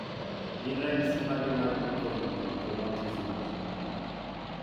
Gin ranyisi mage mag lue cone monochromatism?